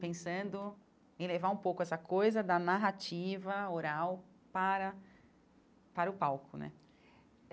pensando em levar um pouco essa coisa da narrativa oral para para o palco né.